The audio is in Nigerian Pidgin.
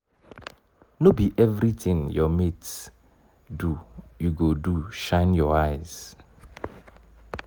no be everytin your mates do you go do shine your eyes.